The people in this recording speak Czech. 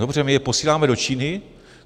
Dobře, my je posíláme do Číny.